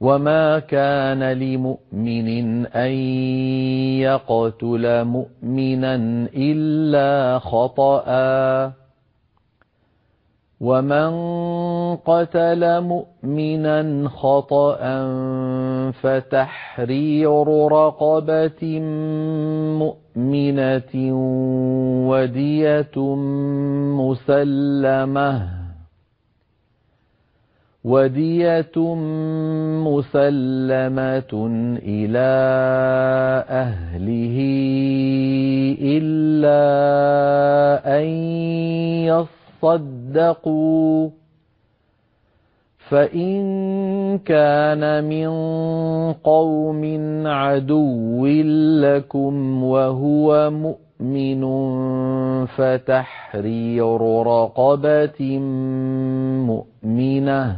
وَمَا كَانَ لِمُؤْمِنٍ أَن يَقْتُلَ مُؤْمِنًا إِلَّا خَطَأً ۚ وَمَن قَتَلَ مُؤْمِنًا خَطَأً فَتَحْرِيرُ رَقَبَةٍ مُّؤْمِنَةٍ وَدِيَةٌ مُّسَلَّمَةٌ إِلَىٰ أَهْلِهِ إِلَّا أَن يَصَّدَّقُوا ۚ فَإِن كَانَ مِن قَوْمٍ عَدُوٍّ لَّكُمْ وَهُوَ مُؤْمِنٌ فَتَحْرِيرُ رَقَبَةٍ مُّؤْمِنَةٍ ۖ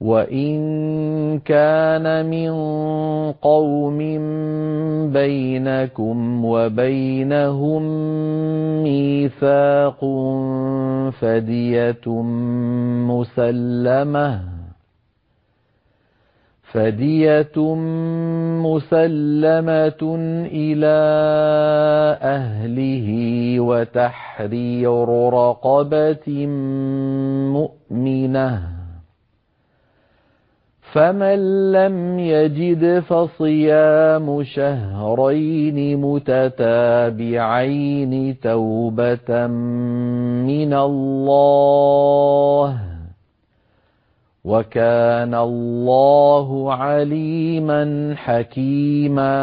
وَإِن كَانَ مِن قَوْمٍ بَيْنَكُمْ وَبَيْنَهُم مِّيثَاقٌ فَدِيَةٌ مُّسَلَّمَةٌ إِلَىٰ أَهْلِهِ وَتَحْرِيرُ رَقَبَةٍ مُّؤْمِنَةٍ ۖ فَمَن لَّمْ يَجِدْ فَصِيَامُ شَهْرَيْنِ مُتَتَابِعَيْنِ تَوْبَةً مِّنَ اللَّهِ ۗ وَكَانَ اللَّهُ عَلِيمًا حَكِيمًا